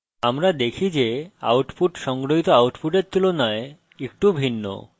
আমরা দেখি যে output সংগ্রহিত output তুলনায় একটু ভিন্ন